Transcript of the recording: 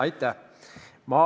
Aitäh!